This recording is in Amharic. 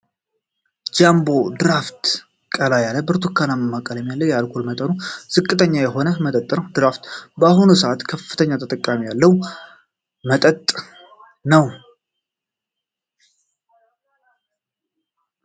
ጃንቦ (ድራፍት) ቀላ ያለ ብርቱካናማ ቀለም ያለው የአልኮል መጠኑ ዝቅተኛ የሆነ መጠጥ ነው። ድራፍት በአሁኑ ሰአት ከፍተኛ ተጠቃሚ ያለው መጠጥ ነው።